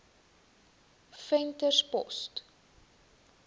venterspost